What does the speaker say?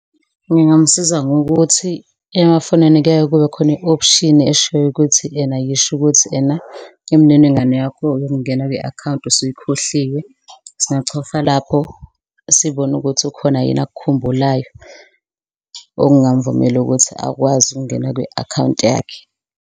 Ngingamusiza ngokuthi emafonini kuyaye kube khona i-option eshoyo ukuthi ena, yisho ukuthi ena imininingwane yakho yokungena kwi-akhawunti usuyikhohliwe. Singachofa lapho sibone ukuthi ukhona yini akukhumbulayo okungamvumela ukuthi akwazi ukungena kwi-akhawunti yakhe.